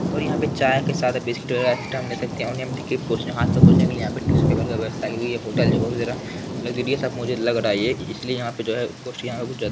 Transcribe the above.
और यहाँ पर चाय के साथ बिस्कुट वगैरह एक्स्ट्रा में ले सकते हैं हाथ वाथ को पोछने के लिए यहाँ पर टिश्यू पेपर वगैरह की व्यवस्था की हुई है ये होटल मुझे लग्जुरियस सा मुझे लग रहा है इसलिए यहाँ पे जो है यहाँ पर कुछ यहाँ--